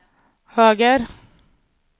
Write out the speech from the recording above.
höger